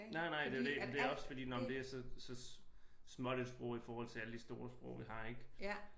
Nej nej det er jo det men det er også fordi nåh men det er så småt et sprog i forhold til alle de store sprog vi har ik